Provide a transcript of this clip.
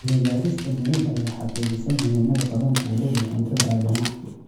Cilmi baaris cilmiyeed ayaa xaqiijisay muhiimada kalluunka uu u leeyahay cuntada aadanaha.